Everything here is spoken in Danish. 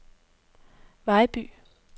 Vejby